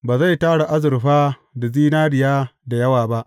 Ba zai tara azurfa da zinariya da yawa ba.